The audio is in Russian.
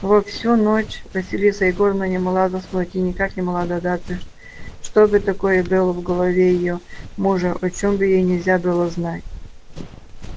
во всю ночь василиса егоровна не могла заснуть и никак не могла догадаться что бы такое было в голове её мужа о чём бы ей нельзя было знать